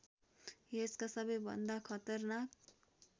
यसका सबैभन्दा खतरनाक